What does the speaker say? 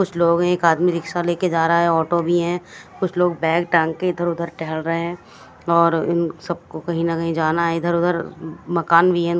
कुछ लोग एक आदमी रिक्शा लेकर जा रहा है ऑटो भी है कुछ लोग बैग टांग के इधर उधर टहल रहे हैं और इन सबको कहीं ना कहीं जाना है इधर उधर मकान भी है।